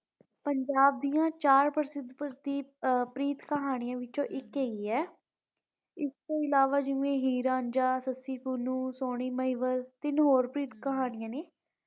ਪੰਜਾਬ ਦੀਆਂ ਚਾਰ ਪ੍ਰਸਿੱਧ ਪ੍ਰੀਤ ਕਹਾਣੀਆਂ ਵਿੱਚੋ ਇਕ ਹੈਗੀ ਏ ਇਸ ਤੋਂ ਇਲਾਵਾ ਹੀਰ ਰਾਂਝਾ ਸੱਸੀ ਪੁੰਨੁ ਸੋਨੀ ਮਹੀਵਾਲ ਤਿੰਨ ਹੋਰ ਪ੍ਰੀਤ ਕਹਾਣੀਆਂ ਨੇ।